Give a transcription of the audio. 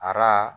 Ara